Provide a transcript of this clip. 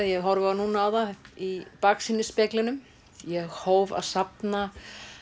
ég horfi núna á það í baksýnisspeglinum ég hóf að safna